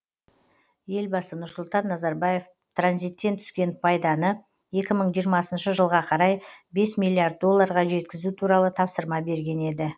елбасы нұрсұлтан назарбаев транзиттен түскен пайданы екі мың жиырмасыншы жылға қарай бес миллиард долларға жеткізу туралы тапсырма берген еді